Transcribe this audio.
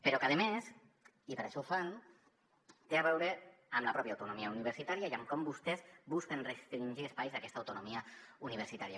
però a més i per això ho fan té a veure amb la pròpia autonomia universitària i amb com vostès busquen restringir espais d’aquesta autonomia universitària